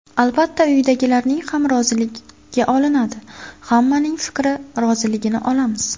Albatta, uydagilarning ham roziligi olinadi, hammaning fikrini, roziligini olamiz.